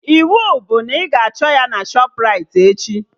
Iwu bụ na ị ga-achọ ya na Shọpraịti echi!